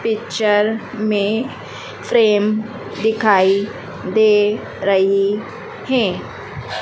Picture में frame दिखाई दे रही है।